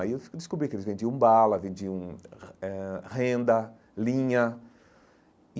Aí eu descobri que eles vendiam bala, vendiam re eh renda, linha e.